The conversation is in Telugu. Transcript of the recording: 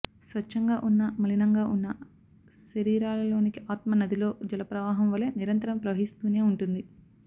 స్వచ్ఛంగా ఉన్నా మలినంగా ఉన్నా శరీరాలలోనికి ఆత్మ నదిలో జలప్రవాహం వలె నిరంతరం ప్రవహిస్తూనే ఉంటుంది